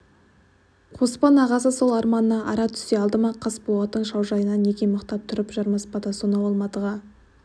қоспан ағасы сол арманына ара түсе алды ма қасболаттың шаужайына неге мықтап тұрып жармаспады сонау алматыға